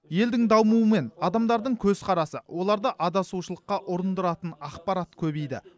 елдің дамуымен адамдардың көзқарасы оларды адасушылыққа ұрындыратын ақпарат көбейді